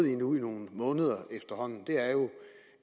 i nogle måneder er jo